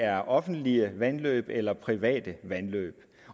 er offentlige vandløb eller private vandløb